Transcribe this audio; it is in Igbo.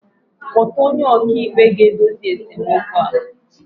Kpọta onye ọkàikpe ga-edozi esemokwu a